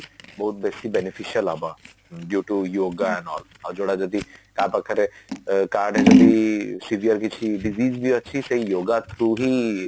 ବହୁତ ବେଶି beneficial ହବ due to yoga ଆଉ ଯୋଉଟା ଯଦି କାହାପାଖରେ କାହାଡେ ଯଦି severe କିଛି digit ବି ଅଛି ସେଇ yoga through ହିଁ